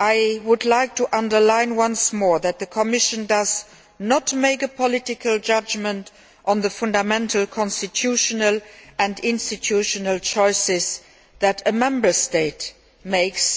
I would like to underline once more that the Commission does not make political judgments on the fundamental constitutional and institutional choices that a Member State makes.